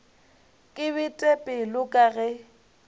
ke bete pelo ka ge